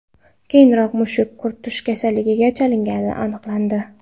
Keyinroq mushuk quturish kasaliga chalinganligi aniqlandi.